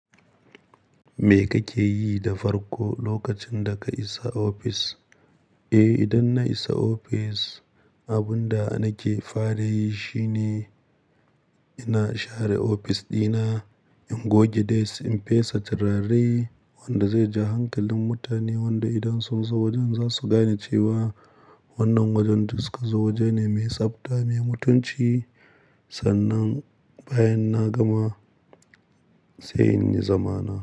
Me kake yi da farko lokacin da ka isa ofis? Eh, idan na isa ofis, abun da nake fara yi shi ne ina share ofis ɗina, in goge desk, in fesa turare wanda zai ja hankalin mutane wanda idan sun zo wajen za su gane cewa wannan wajen da suka zo waje ne mai tsabta, mai mutunci. Sannan bayan na gama sai in yi zamana.